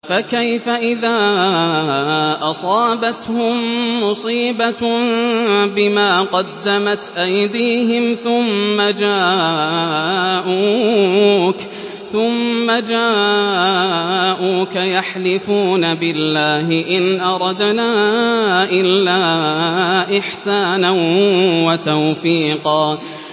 فَكَيْفَ إِذَا أَصَابَتْهُم مُّصِيبَةٌ بِمَا قَدَّمَتْ أَيْدِيهِمْ ثُمَّ جَاءُوكَ يَحْلِفُونَ بِاللَّهِ إِنْ أَرَدْنَا إِلَّا إِحْسَانًا وَتَوْفِيقًا